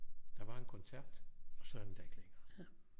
Der var en kontakt og så er den der ikke længere